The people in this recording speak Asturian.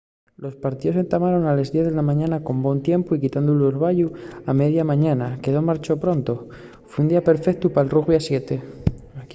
los partíos entamaron a les diez de la mañana con bon tiempu y quitando l’orbayu a media mañana que marchó pronto fue un día perfeutu pal rugbi a 7